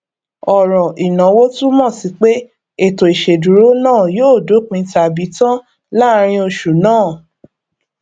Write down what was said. ọrọ inawo túmọ sí pé ètò ìṣèdúró náà yóò dópin tabi tan láàrin oṣù náà